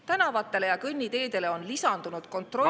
Tänavatele ja kõnniteedele on lisandunud kontrollimatul hulgal …